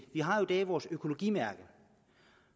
vi har i dag vores økologimærke